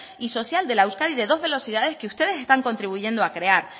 y social de la euskadi de dos de los ideales que ustedes están contribuyendo a crear